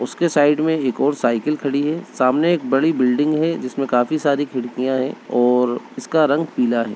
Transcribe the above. उसके साइड में एक और साइकिल खड़ी है। सामने एक बड़ी बिल्डिंग है जिसमे काफी सारी खिड़कियाँ हैं और इसका रंग पीला है।